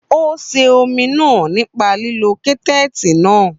Ó sè omi náà nípa lílo kẹ́tẹ́ẹ̀tì náà.